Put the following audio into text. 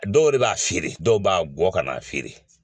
Dɔw yɛrɛ b'a feere dɔw b'a gɔ ka n'a feere.